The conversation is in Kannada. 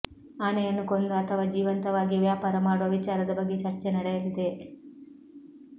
ಆನೆಯನ್ನು ಕೊಂದು ಅಥವಾ ಜೀವಂತವಾಗಿಯೇ ವ್ಯಾಪಾರ ಮಾಡುವ ವಿಚಾರದ ಬಗ್ಗೆ ಚರ್ಚೆ ನಡೆಯಲಿದೆ